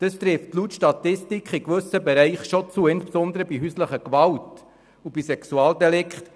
Das trifft laut Statistik in gewissen Bereichen zu, insbesondere bei häuslicher Gewalt und bei Sexualdelikten.